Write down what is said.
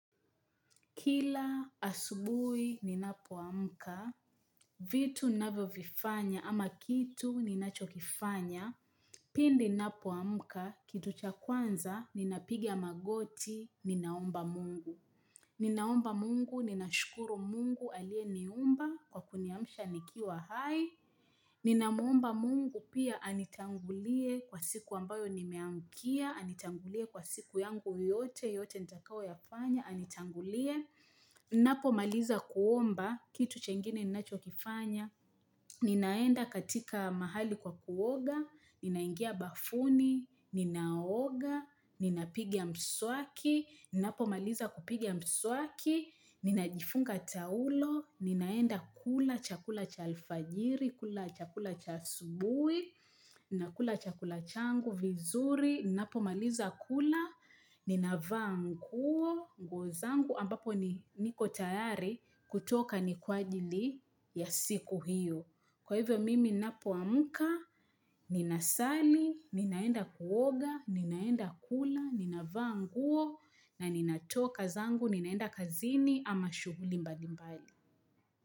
Kila asubuhi ninapoamka, vitu ninavyovifanya ama kitu ninachokifanya, pindi ninapoamuka, kitu cha kwanza, ninapiga magoti, ninaomba mungu. Ninaomba mungu, ninashukuru mungu aliyeniumba, kwa kuniamsha nikiwa hai. Ninamuomba mungu pia anitangulie kwa siku ambayo nimeamkia, anitangulie kwa siku yangu yote, yote nitakayo yafanya, anitangulie. Napomaliza kuomba, kitu chengine ninachokifanya Ninaenda katika mahali kwa kuoga Ninaingia bafuni, ninaoga Ninapigia mswaki, ninapomaliza kupiga mswaki Ninajifunga taulo, ninaenda kula chakula cha alfajiri kula chakula cha asubui, ninakula chakula changu vizuri ninapomaliza kula, ninavaa nguo, nguo zangu ambapo ni niko tayari kutoka ni kwa ajili ya siku hiyo. Kwa hivyo mimi ninapoamuka, ninasali, ninaenda kuoga, ninaenda kula, ninavaa nguo na ninatoka zangu, ninaenda kazini ama shughuli mbali mbali.